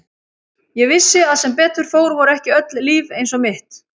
Ég vissi að sem betur fór voru ekki öll líf eins og mitt.